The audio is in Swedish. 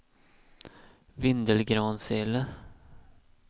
Vindelgransele